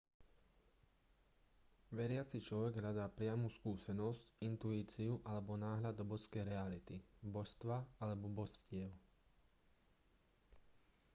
veriaci človek hľadá priamu skúsenosť intuíciu alebo náhľad do božskej reality/božstva alebo božstiev